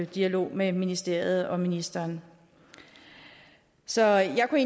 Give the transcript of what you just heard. dialog med ministeriet og ministeren så jeg kunne